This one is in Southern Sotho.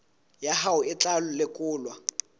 ya hao e tla lekolwa